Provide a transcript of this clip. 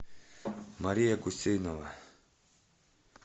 мария гусейнова